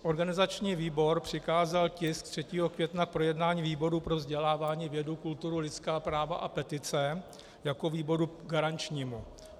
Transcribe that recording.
Organizační výbor přikázal tisk 3. května k projednání výboru pro vzdělávání, vědu, kulturu, lidská práva a petice jako výboru garančnímu.